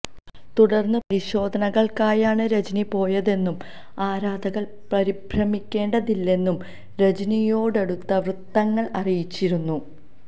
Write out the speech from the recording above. തുടർ പരിശോധനകൾക്കായാണ് രജനി പോയതെന്നും ആരാധകർ പരിഭ്രമിക്കേണ്ടിതില്ലെന്നും രജനിയോടടുത്ത വൃത്തങ്ങൾ അറിയിച്ചിരുന്നു